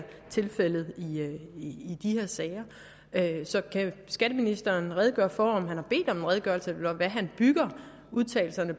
tilfældet i de her sager så kan skatteministeren redegøre for om han har bedt om en redegørelse eller hvad han bygger udtalelserne